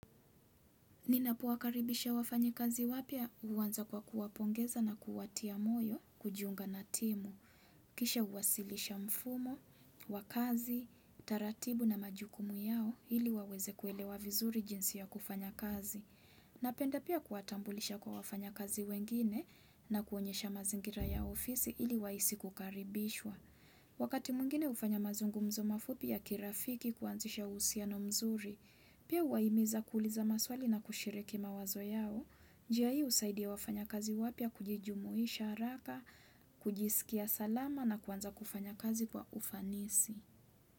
Ninapowakaribisha wafanyikazi wapya huanza kwa kuwapongeza na kuwatia moyo kujunga na timu. Kisha huwasilisha mfumo, wakazi, taratibu na majukumu yao ili waweze kuelewa vizuri jinsi ya kufanya kazi. Napenda pia kuwatambulisha kwa wafanyakazi wengine na kuonyesha mazingira ya ofisi ili wahisi kukaribishwa. Wakati mwingine hufanya mazungumzo mafupi ya kirafiki kuanzisha uhusiano mzuri. Pia huwahimiza kuuliza maswali na kushiriki mawazo yao, njia hii husaidia wafanyakazi wapya kujijumuisha haraka, kujisikia salama na kuanza kufanya kazi kwa ufanisi.